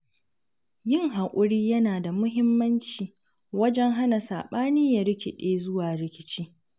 Yin hakuri yana da muhimmanci wajen hana saɓani ya rikiɗe zuwa rikici.